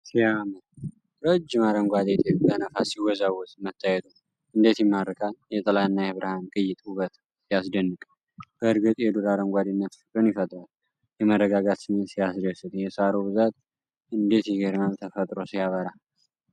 ሲያምር! ረጅም አረንጓዴ ጤፍ በነፋስ ሲወዛወዝ መታየቱ እንዴት ይማርካል! የጥላና የብርሃን ቅይጥ ውበት ሲያስደንቅ! በእርግጥ የዱር አረንጓዴነት ፍቅርን ይፈጥራል! የመረጋጋት ስሜት ሲያስደስት! የሣሩ ብዛት እንዴት ይገርማል! ተፈጥሮ ሲያበራ!